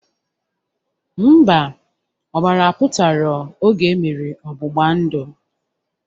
Mba, ọbara apụtarọ oge emere ọgbụgba ndụ